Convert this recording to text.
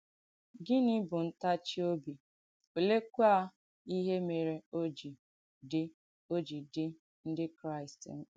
Gịnì bù ǹtàchì òbì, olèekwà ìhé mèrè ò jì dì ò jì dì Ndí Kráìst m̀kpà?